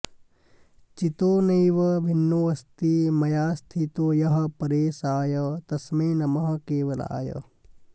चितो नैव भिन्नोऽस्ति मायास्थितो यः परेशाय तस्मै नमः केवलाय